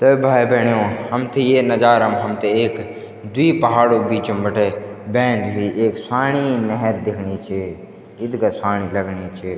त भाई-भेणाे हमथे ये नजारा म हमथे एक द्वि पहाड़ो क बीचम बटे बैंदी हुई एक स्वाणी नेहेर दिखनी च इत्गा स्वाणी लगनी च।